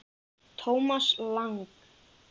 Thomas Lang